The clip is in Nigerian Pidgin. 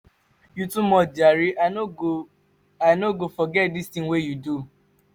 you too much jare i no go i no go forget dis tin wey you do.